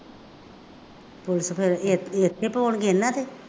ਉਲਟ ਫੇਰ ਕੇਸ ਇੱਥੇ ਪਾਉਣਗੇ ਇਹਨਾ ਤੇ